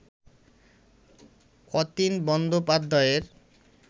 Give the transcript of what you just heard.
অতীন বন্দ্যোপাধ্যায়ের